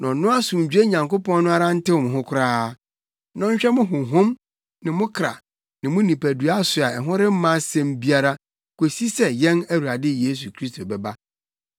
Na ɔno asomdwoe Nyankopɔn no ara ntew mo ho koraa, na ɔnhwɛ mo honhom ne mo kra ne mo nipadua so a ɛho remma asɛm biara kosi sɛ yɛn Awurade Yesu Kristo bɛba.